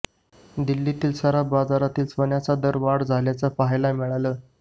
दिल्लीतील सराफ बाजारात सोन्याच्या दरात वाढ झाल्याचं पहायला मिळालं